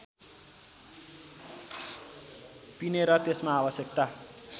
पिनेर त्यसमा आवश्यकता